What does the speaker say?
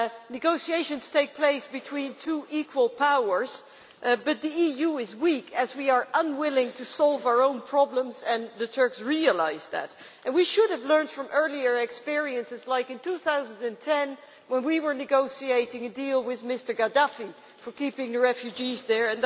Negotiations take place between two equal powers, but the EU is weak as we are unwilling to solve our own problems, and the Turks realise that. We should have learned from earlier experiences, like in 2010, when we were negotiating a deal with Mr Gaddafi for keeping the refugees there.